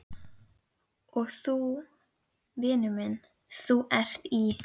Og þú, vinur minn, ÞÚ ERT Í